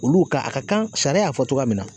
Olu ka a ka kan sariya y'a fɔ cogoya min na